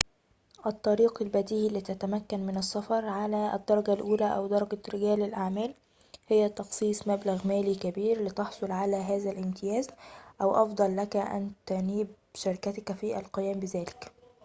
الطريق البديهي لتتمكن من السفر على الدرجة الأولى أو درجة رجال الأعمال هي تخصيص مبلغ مالي كبير لتحصل على هذا الامتياز أو أفضل لك أن تنيب شركتك في القيام بذلك